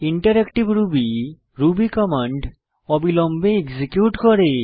interactive Ruby Ruby command অবিলম্বে execute করে